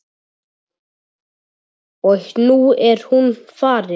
Og nú er hún farin.